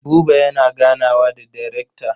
Buba yana ganawa da darekta.